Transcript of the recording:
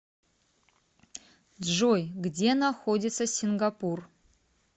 джой где находится сингапур